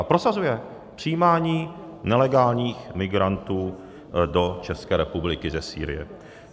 A prosazuje přijímání nelegálních migrantů do České republiky ze Sýrie.